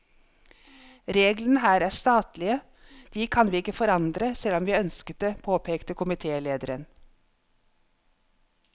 Reglene her er statlige, de kan ikke vi forandre, selv om vi ønsket det, påpeker komitélederen.